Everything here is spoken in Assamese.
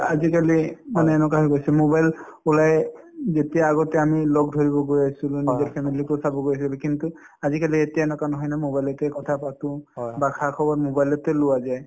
আজিকালি মানে এনেকুৱা হৈ গৈছে mobile ওলায়ে উম যেতিয়া আগতে আমি লগ ধৰিব গৈ আছিলো নিজৰ family ৰ কথা কিন্তু আজিকালি এতিয়া এনেকুৱা নহয় ন mobile তে কথাপাতো বা খা-খবৰ mobile তে লোৱা যায়